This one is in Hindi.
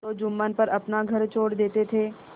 तो जुम्मन पर अपना घर छोड़ देते थे